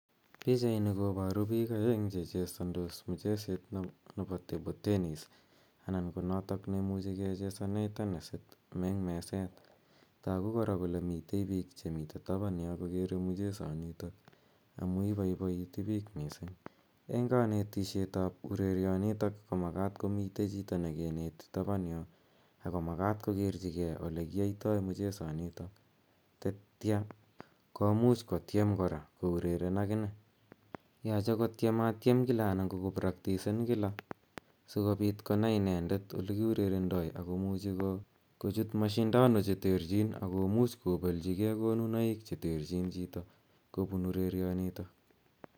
Pichaini koparu piik aeng' che chesandos mcheset nepo table tennis anan ko notok ne imuchi kechesane tenesit eng' meset. Tagu kora kole mitei piik chemi tapan yo kokere mchesanitok amu ipaipaiti piich missing'. Eng' kanetishet ap urerianitok komakat komotei chito ne kineti tapan yo, ako makat kokerchigei ole kiaitai mchesanitok, tetia komuch kotiem. kora koureren akine. Mache kotiematiem kila ana koko praktisen kila si kopiit konai inendet ole kiurerendoi ako muchi kochut mashindano cheterchiin, ako much koplechigei konunoik che terchin chito kopuun urerionitok